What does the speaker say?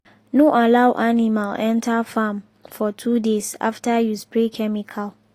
no allow animal enter farm for two days after you spray chemical.